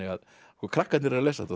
krakkarnir eru að lesa þetta